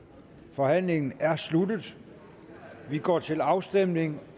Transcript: forhandlingen er sluttet og vi går til afstemning